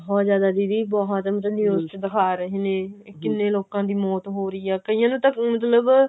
ਬਹੁਤ ਜ਼ਿਆਦਾ ਦੀਦੀ ਬਹੁਤ ਮਤਲਬ news ਚ ਦਿਖਾ ਰਹੇ ਨੇ ਕਿੰਨੇ ਲੋਕਾਂ ਦੀ ਮੌਤ ਹੋ ਰਹੀ ਆ ਕਈਆਂ ਨੂੰ ਤਾਂ ਮਤਲਬ